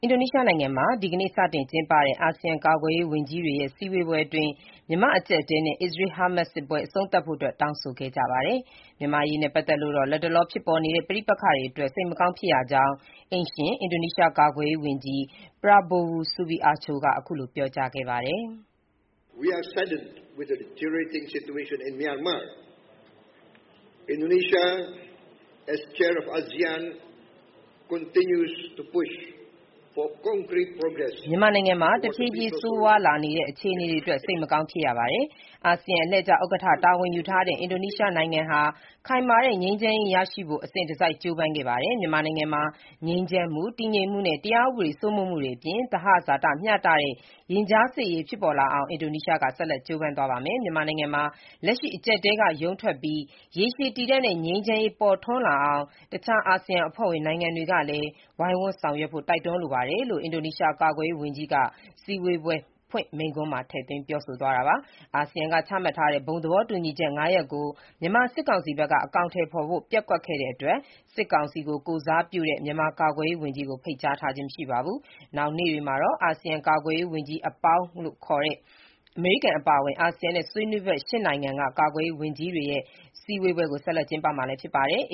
အင်ဒိုနီးရှားနိုင်ငံမှာ ဒီကနေ့ စတင်ကျင်းပတဲ့ အာဆီယံကာကွယ်ရေးဝန်ကြီးတွေရဲ့ စည်းဝေးပွဲအတွင်း မြန်မာ့အကျပ်အတည်းနဲ့ အစ္စရေး-ဟာမတ်စစ်ပွဲ အဆုံးသတ်ဖို့အတွက် တောင်းဆိုခဲ့ကြပါတယ်။ မြန်မာ့အရေးနဲ့ပတ်သက်လို့တော့ လတ်တလောဖြစ်ပေါ်နေတဲ့ ပဋိပက္ခတွေအတွက် စိတ်မကောင်းဖြစ်ရကြောင်း အိမ်ရှင် အင်ဒိုနီးရှားကာကွယ်ရေးဝန်ကြီး Prabowo Subianto (ပါရာဘိုဝို ဆပ်ဘီရန်တို) က အခုလို ပြောကြားခဲ့ပါတယ်။ “မြန်မာနိုင်ငံမှာ တဖြည်းဖြည်း ဆိုးရွားလာနေတဲ့ အခြေအနေတွေအတွက် စိတ်မကောင်းဖြစ်ရပါတယ်။ အာဆီယံအလှည့်ကျဥက္ကဋ္ဌ တာဝန်ယူထားတဲ့ အင်ဒိုနီးရှားနိုင်ငံဟာ ခိုင်မာတဲ့ ငြိမ်းချမ်းရေးရရှိနိုင်ဖို့ အစဉ်တစိုက် ကြိုးပမ်းခဲ့ပါတယ်။ မြန်မာနိုင်ငံမှာ ငြိမ်းချမ်းမှု၊ တည်ငြိမ်မှုနဲ့ တရားဥပဒေ စိုးမိုးမှုတွေအပြင် သဟဇာတမျှတတဲ့ ရင်ကြားစေ့ရေးဖြစ်ပေါ်လာအောင် အင်ဒိုနီးရှားက ဆက်လက် ကြိုးပမ်းသွားပါမယ်။ မြန်မာနိုင်ငံမှာ လက်ရှိအကြပ်အတည်းက ရုန်းထွက်ပြီး ရေရှည်တည်တန့်တဲ့ ငြိမ်းချမ်းရေး ပေါ်ထွန်းလာအောင် တခြားအာဆီယံအဖွဲ့ဝင်နိုင်ငံတွေကလည်း ဝိုင်းဝန်းဆောင်ရွက်ကြဖို့ တိုက်တွန်းလိုပါတယ်” - လို့ အင်ဒိုနီးရှားကာကွယ်ရေးဝန်ကြီးက စည်းဝေးပွဲ အဖွင့်မိန့်ခွန်းမှာ ထည့်သွင်းပြောဆိုသွားတာပါ။ အာဆီယံက ချမှတ်ထားတဲ့ ဘုံသဘောတူညီချက် (၅) ရပ်ကို မြန်မာစစ်ကောင်စီဘက်က အကောင်အထည်ဖော်ဖို့ ပျက်ကွက်တဲ့အတွက် စစ်ကောင်စီကို ကိုယ်စားပြုတဲ့ မြန်မာကာကွယ်ရေးဝန်ကြီးကို ဖိတ်ကြားခြင်းမရှိပါဘူး။ နောက်နေ့တွေမှာတော့ အာဆီယံ ကာကွယ်ရေးဝန်ကြီးနဲ့ မဟာမိတ်နိုင်ငံကြီးတွေဖြစ်တဲ့ အမေရိကန်အပါအဝင် အာဆီယံနဲ့ ဆွေးနွေးဘက် ၈ နိုင်ငံက ကာကွယ်ရေးဝန်ကြီးတွေရဲ့စည်းဝေးပွဲကို ဆက်လက် ကျင်းပမှာဖြစ်ပါတယ်။